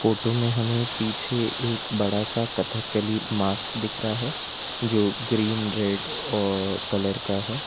Photo में हमें पीछे एक बड़ा सा कथकली मास्क दिख रहा है जो ग्रीन रेड और कलर का है।